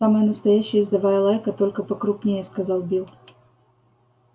самая настоящая ездовая лайка только покрупнее сказал билл